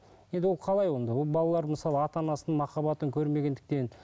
енді ол қалай онда ол балалар мысалы ата анасының махаббатын көрмегендіктен